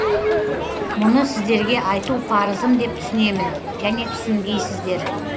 мұны сіздерге айту парызым деп түсінемін және түсінгейсіздер